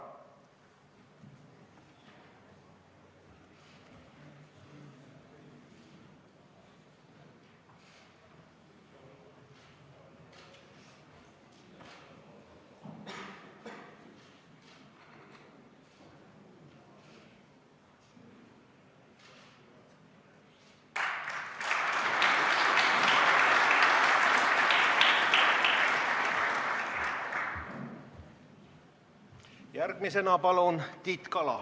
Järgmisena palun Tiit Kala!